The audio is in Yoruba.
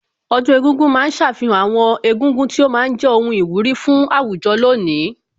Ọdún egúngún ma ń ṣàfihàn àwọn egúngún tí ó ma ń jẹ́ ohun ìwúrí fún àwùjọ lónìí